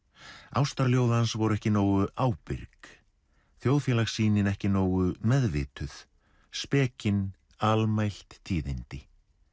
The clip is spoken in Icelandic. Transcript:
ástarljóð hans voru ekki nógu ábyrg þjóðfélagssýnin ekki nógu meðvituð almælt tíðindi